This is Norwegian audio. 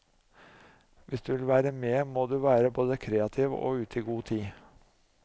Hvis du vil være med må du være både kreativ og ute i god tid.